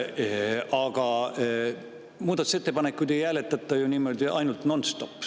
Aga muudatusettepanekuid ei hääletata ju ainult nonstop.